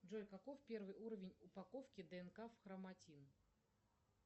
джой каков первый уровень упаковки днк в хроматин